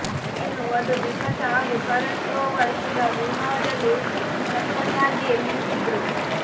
ಇನ್ನು ವಧು ಬಿಪಾಶಾ ಹಾಗೂ ಕರಣ್ ಕ್ರೋವರ್ ಕೂಡ ವಿವಾಹದಲ್ಲಿ ಸಖತ್ತಾಗಿಯೇ ಮಿಂಚಿದ್ರು